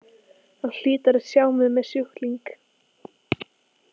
Hann hlýtur að sjá mig sem sjúkling.